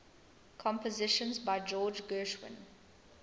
compositions by george gershwin